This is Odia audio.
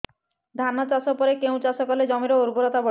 ଧାନ ଚାଷ ପରେ କେଉଁ ଚାଷ କଲେ ଜମିର ଉର୍ବରତା ବଢିବ